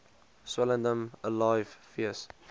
swellendam alive fees